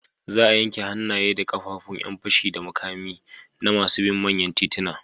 Za a yanke hannaye da ƙafafun ƴan fashi da makami na masu bin manyan tituna.